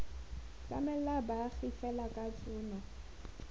tlamela baagi fela ka tshono